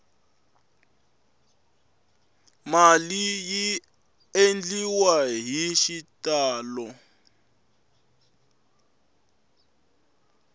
mali yi endliwa hi xitalo